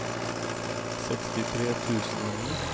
sekstitre tusen og ni